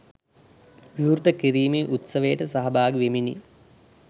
විවෘත කිරීමේ උත්සවයට සහභාගි වෙමිනි.